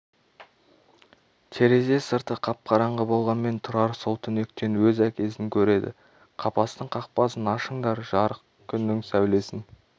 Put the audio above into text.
терезе сырты қап-қараңғы болғанмен тұрар сол түнектен өз әкесін көреді қапастың қақпасын ашыңдар жарық күннің сәулесін